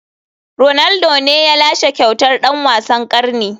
Ronaldo ne ya lashe kyautar dan wasan karni.